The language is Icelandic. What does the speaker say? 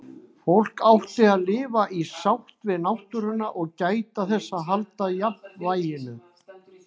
Fólk átti að lifa í sátt við náttúruna og gæta þess að halda jafnvæginu.